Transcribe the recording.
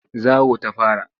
Zawo ta fara.